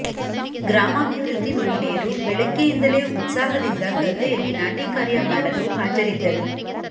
ಗ್ರಾಮಾಭಿವೃದ್ದಿ ಮಹಿಳೆಯರು ಬೆಳಿಗ್ಗೆಯಿಂದಲೇ ಉತ್ಸಾಹದಿಂದ ಗದ್ದೆಯಲ್ಲಿ ನಾಟಿ ಕಾರ್ಯ ಮಾಡಲು ಹಾಜರಿದ್ದರು